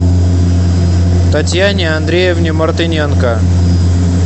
татьяне андреевне мартыненко